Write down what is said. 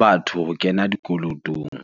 batho ho kena dikolotong.